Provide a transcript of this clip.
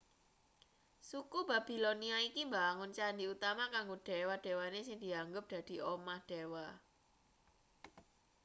suku babilonia iki mbangun candhi utama kanggo dewa-dewane sing dianggep dadi omah dewa